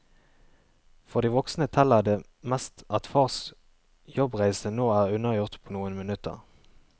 For de voksne teller det mest at fars jobbreise nå er unnagjort på noen minutter.